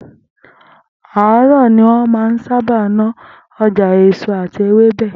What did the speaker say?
Àárò̩ ni wó̩n máa ń sábà ná o̩jà èso àti ewébè̩